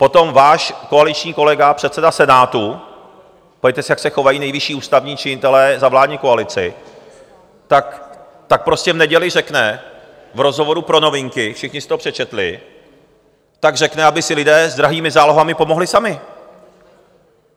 Potom váš koaliční kolega, předseda Senátu, podívejte se, jak se chovají nejvyšší ústavní činitelé za vládní koalici, tak prostě v neděli řekne v rozhovoru pro Novinky, všichni si to přečetli, tak řekne, aby si lidé s drahými zálohami pomohli sami.